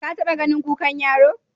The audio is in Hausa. Ka taɓa ganin kukan yaro?